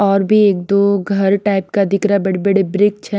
और भी एक-दो घर टाइप का दिख रहा है बड़े-बड़े ब्रिक्ष है।